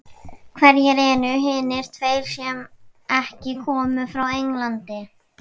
Hverjir eru hinir tveir sem ekki koma frá Englandi?